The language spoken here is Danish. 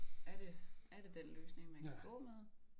Er det er det den løsning man kan gå med